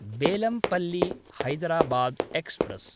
Bellampalli-Hyderabad express